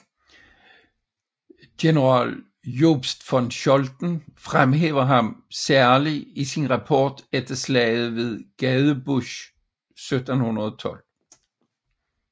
General Jobst von Scholten fremhæver ham særlig i sin rapport efter slaget ved Gadebusch 1712